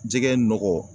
Jɛgɛ nɔgɔ